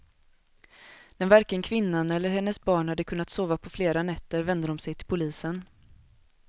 När varken kvinnan eller hennes barn hade kunnat sova på flera nätter vände de sig till polisen.